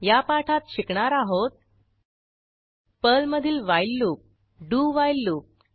या पाठात शिकणार आहोत पर्लमधील while loop do while loop